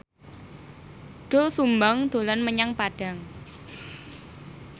Doel Sumbang dolan menyang Padang